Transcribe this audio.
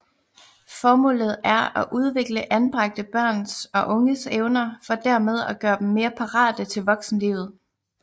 Formålet er at udvikle anbragte børns og unges evner for dermed at gøre dem mere parate til voksenlivet